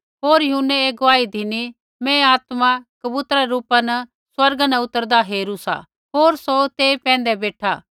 होर यूहन्नै ऐ गुआही धिनी मैं आत्मा कबूतरै रै रूपा स्वर्गा न उतरदा हेरू सा होर सौ तेई पैंधै बेठा